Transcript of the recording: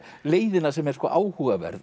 leiðina sem er áhugaverð